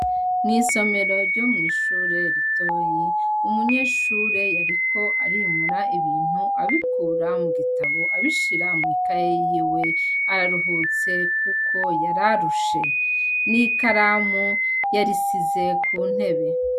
Mw'isomero ryo mw'ishure ritoyi umunyeshure yariko arimura ibintu abikura mu gitabo abishira mw'ikaye yiwe araruhutse kuko yari arushe. N'ikaramu yarishize ku ntebe.